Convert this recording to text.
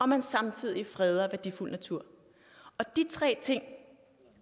man samtidig freder værdifuld natur og de tre ting